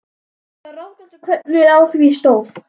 Mér er það ráðgáta, hvernig á því stóð.